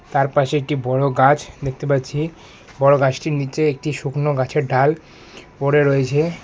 তার পাশে একটি বড় গাছ দেখতে পাচ্ছি বড় গাছটির নীচে একটি শুকনো গাছের ডাল পড়ে রয়েছে।